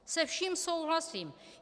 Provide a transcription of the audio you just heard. Se vším souhlasím.